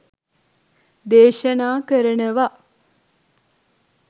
දේශනා කරනවා.